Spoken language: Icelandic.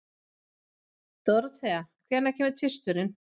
Dorothea, hvenær kemur tvisturinn?